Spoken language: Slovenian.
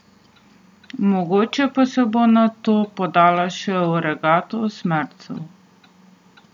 Mogoče pa se bo nato podala še v regato osmercev.